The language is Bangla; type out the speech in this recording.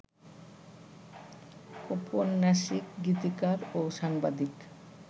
ঔপন্যাসিক, গীতিকার ও সাংবাদিক